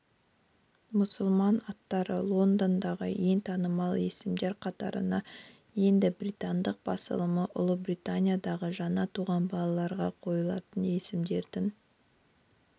мұсылман аттары лондондағы ең танымал есімдер қатарына енді британдық басылымы ұлыбританиядағы жаңа туған балаларға қойылатын есімдердің